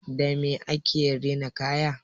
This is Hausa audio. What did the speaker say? Dame ake rina kaya?